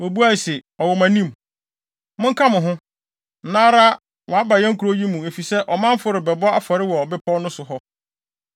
Wobuae se, “Ɔwɔ mo anim. Monka mo ho, nnɛ ara a waba yɛn kurow yi mu efisɛ ɔmanfo rebɛbɔ afɔre wɔ bepɔw no so hɔ.